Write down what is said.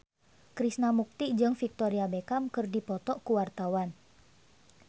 Krishna Mukti jeung Victoria Beckham keur dipoto ku wartawan